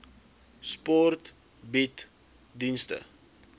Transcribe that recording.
sport bied dienste